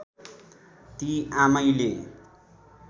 ती आमैले